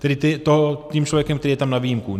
Tedy tím člověkem, který je tam na výjimku.